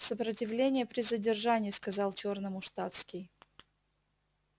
сопротивление при задержании сказал чёрному штатский